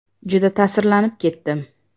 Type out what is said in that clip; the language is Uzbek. Juda ta’sirlanib ketdim.